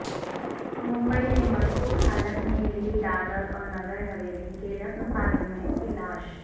ممبئی میں مشکوک حالت میں ملی دادر اور نگر حویلی کے رکن پارلیمنٹ کی لاش